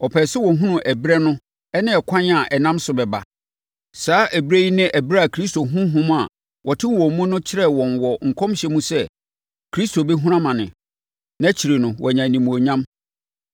Wɔpɛɛ sɛ wɔhunu ɛberɛ no ne ɛkwan a ɛnam so bɛba. Saa ɛberɛ yi ne ɛberɛ a Kristo Honhom a ɔte wɔn mu no kyerɛɛ wɔn wɔ nkɔmhyɛ mu sɛ Kristo bɛhunu amane, na akyire no wanya animuonyam.